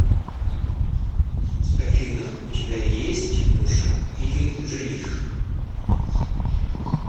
афина у тебя есть муж или жених